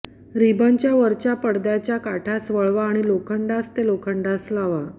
रिबनच्या वरच्या पडदाच्या काठास वळवा आणि लोखंडास ते लोखंडास लावा